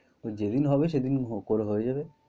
তো যেদিন হবে সেদিন হ~করা হয়ে যাবে।